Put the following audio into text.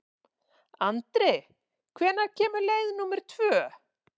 Andri, hvenær kemur leið númer tvö?